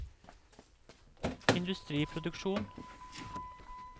industriproduksjon